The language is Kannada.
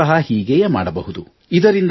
ನೀವೂ ಸಹ ಹೀಗೆಯೇ ಮಾಡಬಹುದು